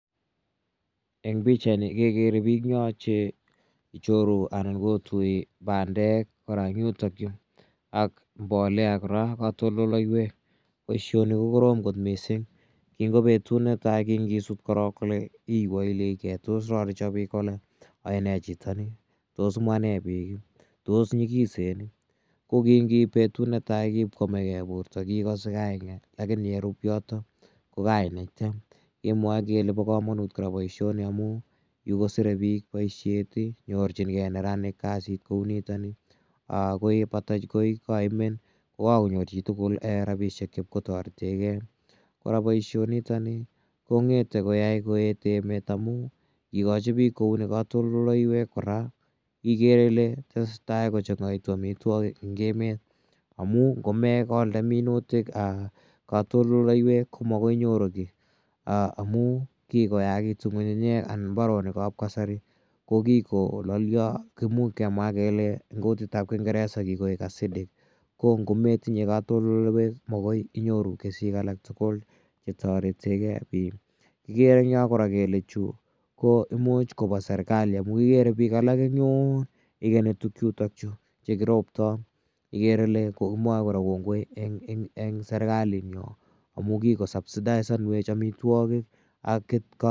Eng' pichaini kekere pik eng' yo che ichoru anan kotui pandek kora eng' yutakyu ak mbolea kora anan ko katoltoliwek. Poishoni ko korom missing' kingo petut ne tai kingisut korok kole iwewechi ge tos korariso pik kole ae ne chito ni. Tos mwa nne pik? Tos nyikisen i? Ko ki ngiip petut netai kipkoamegei porto kiikase kaing'et lakini ye rupu yotok ko kainaiten imwae kole pa kamanut kora poishoni amu yu kosire pik poishet i, nyorchingei neranik kasit neu nitani. Ko ye kepata koi kaimen ko kakonyor chi tugul rapishek chepko tarete gei. Kora poishonotani kong'ete koyai koeet emet amu ngikachi piik kouni katoltoleiwek kora ikere ile tese tai ko chang'aitu amitwogik en emet amu ngome kolde minutik katoltoleiwek ko makoi inyoru ki amu kikoyakitu ng'ung'unyek anan mbaronik ap kasari ko kikolalya, imuchi kemwa kele eng' kutit ap kingeresa ko kikoik acidic. Ko ngo metinye katoltoleiwek ko makoi inyoru kesutik alak tugul che taretee gei pik. Kikere eng' yo kora kole chu ko imuch kopa serkali amu ikere pik alak eng' yun, ikeni tugchutachu ye kiroptai ikere ile komwae kora kongoi eng' serkali amu kikosubsidaisanwech amitwogik ak katoltoleiwek.